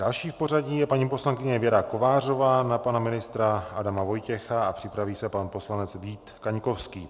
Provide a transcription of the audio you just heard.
Další v pořadí je paní poslankyně Věra Kovářová na pana ministra Adama Vojtěcha a připraví se pan poslanec Vít Kaňkovský.